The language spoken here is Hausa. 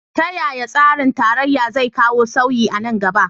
Ta yaya tsarin tarayya zai kawo sauyi a nan gaba?